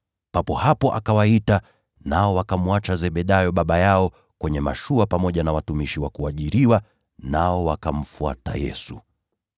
Papo hapo akawaita, nao wakamwacha Zebedayo baba yao kwenye mashua pamoja na watumishi wa kuajiriwa, nao wakamfuata Yesu.